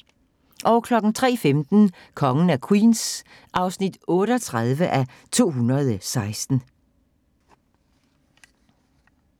03:15: Kongen af Queens (38:216)